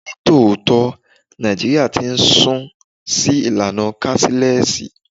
Ní tòótọ́, Nàìjíríà ti ń sún sí ìlànà káṣílẹ́sì.